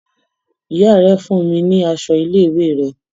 Ìyá rè fún mi ní aṣọ ilé-ìwé rẹ̀.